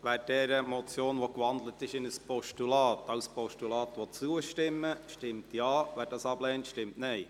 Wer dieser Motion, die in ein Postulat gewandelt ist, als Postulat zustimmen will, stimmt Ja, wer dies ablehnt, stimmt Nein.